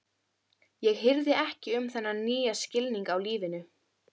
Ég hirði ekki um þennan nýja skilning á lífinu.